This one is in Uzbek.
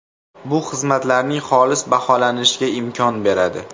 Bu xizmatlarning xolis baholanishiga imkon beradi.